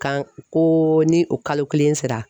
K'an ko ni o kalo kelen sera